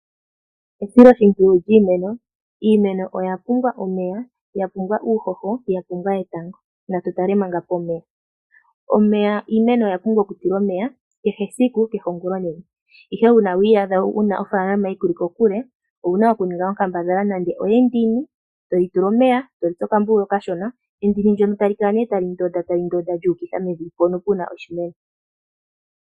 Esiloshimpwiyu lyiimeno. Iimeno oya pumbwa omeya, ya pumbwa uuhoho, ya pumbwa etango. Natu tale manga pomeya. Omeya, iimeno oya pumbwa oku tulwa omeya kehe esiku, kehe ongulonene. Ihe uuna wi iyadha wuna ofaalama yi kuli kokule owu na oku ninga onkambadhala nande oyendini, etoyi tula omeya, etoyi tsu okambululu okashona, endini ndono tali kala nee tali ndonda, tali ndonda lyu ukitha mevi mpono pu na oshimeno.